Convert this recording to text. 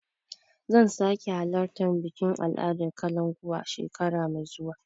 Zan sake alartar bikin al'adar kalankuwa shekara mai zuwa.